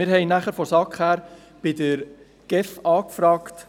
Wir haben von Seiten der SAK bei der GEF nachgefragt.